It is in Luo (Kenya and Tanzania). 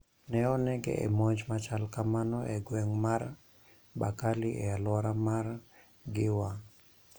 Ne oneg e monj ma chalo kamano e gweng ' mar Bakali e alwora mar Giwa.